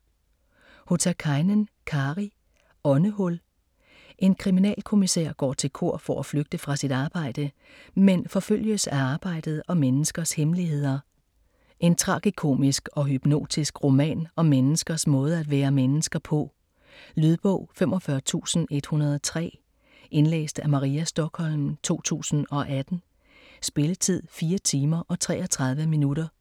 Hotakainen, Kari: Åndehul En kriminalkommisær går til kor for at flygte fra sit arbejde, men forfølges af arbejdet og menneskers hemmeligheder. En tragikomisk og hypnotisk roman om menneskers måde at være mennesker på. Lydbog 45103 Indlæst af Maria Stokholm, 2018. Spilletid: 4 timer, 33 minutter.